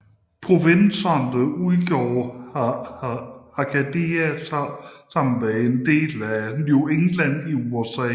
Provinserne udgjorde Acadia sammen med dele af New England i USA